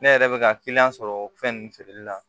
Ne yɛrɛ bɛ ka kiliyan sɔrɔ fɛn ninnu feereli la